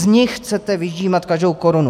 Z nich chcete vyždímat každou korunu.